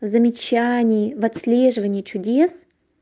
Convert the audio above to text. замечаний в отслеживании чудес